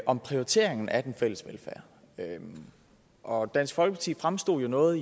om prioriteringen af den fælles velfærd og dansk folkeparti fremstod jo noget